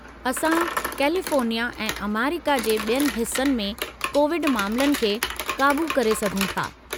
असां कैलिफ़ोर्निया ऐं अमरीका जे ॿियनि हिस्सनि में कोविड मामलनि खे क़ाबू करे सघूं था।